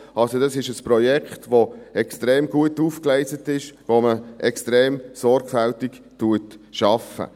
Also: Das ist ein Projekt, das extrem gut aufgegleist ist, bei dem man extrem sorgfältig arbeitet.